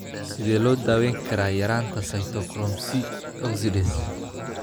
Sidee loo daweyn karaa yaraanta cytochrome C oxidase?